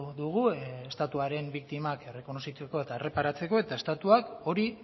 dugu estatuaren biktimak errekonozitzeko eta erreparatzeko eta estatuak hori